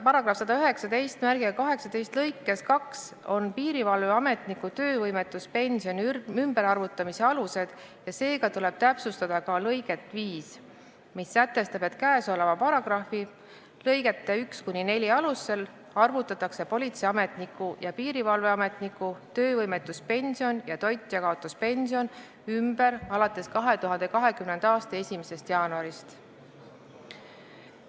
Paragrahvi 11918 lõikes 2 on piirivalveametniku töövõimetuspensioni ümberarvutamise alused ja seega tuleb täpsustada ka lõiget 5, mis sätestab: "Käesoleva paragrahvi lõigete 1–4 alusel arvutatakse politseiametniku ja piirivalveametniku töövõimetuspension ja toitjakaotuspension ümber alates 2020. aasta 1. jaanuarist.".